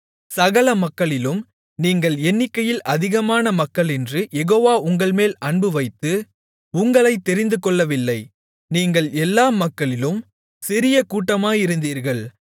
சகல மக்களிலும் நீங்கள் எண்ணிக்கையில் அதிகமான மக்களென்று யெகோவா உங்கள்மேல் அன்புவைத்து உங்களைத் தெரிந்துகொள்ளவில்லை நீங்கள் எல்லா மக்களிலும் சிறிய கூட்டமாயிருந்தீர்கள்